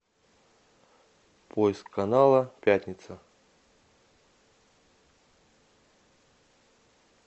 поиск канала пятница